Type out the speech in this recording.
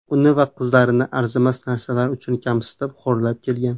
Uni va qizlarini arzimas narsalar uchun kamsitib, xo‘rlab kelgan.